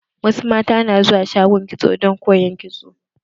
Wasu mata na zuwa shagon kitso don koyan kitso.